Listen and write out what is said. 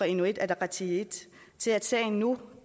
inuit ataqatigiit til at sagen nu